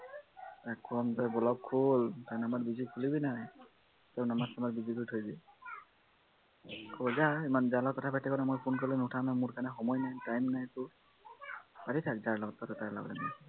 তাক কও block খোল খুলিবিনে তাৰ number busy কৰি থৈ দিয়ে কয় যা যাৰ লগত কথা পাত পাতি থাক মই phone কৰিলে নুুঠাৱ নহয় সময় নাই time নাই তোৰ পাতি থাক যাৰ লগত পাত তাৰ লগত